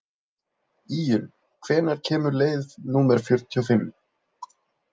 Íunn, hvenær kemur leið númer fjörutíu og fimm?